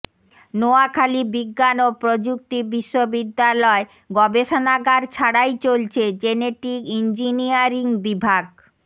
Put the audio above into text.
নোয়াখালী বিজ্ঞান ও প্রযুক্তি বিশ্ববিদ্যালয় গবেষণাগার ছাড়াই চলছে জেনেটিক ইঞ্জিনিয়ারিং বিভাগ